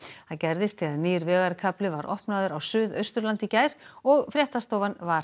það gerðist þegar nýr vegarkafli var opnaður á Suðausturlandi í gær og fréttastofan var